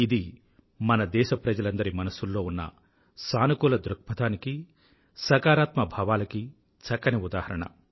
ఇది మన దేశప్రజలందరి మనసుల్లో ఉన్న సానుకూల దృక్పథానికీ సకారాత్మక భావాలకీ చక్కని ఉదాహరణ